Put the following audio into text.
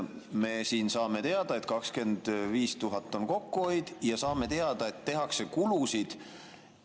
Me saame teada, et 25 000 on kokkuhoid, ja saame teada, et tehakse kulusid.